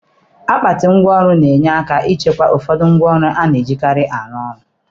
Akpati ngwa ọrụ ga-enye aka ichekwa ụfọdụ ngwa ọrụ a na-ejikarị arụ ọrụ.